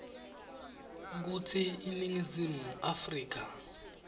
kutsi iningizimu afrika